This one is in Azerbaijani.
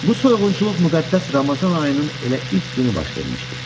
Bu soyğunçuluq müqəddəs Ramazan ayının elə ilk günü baş vermişdi.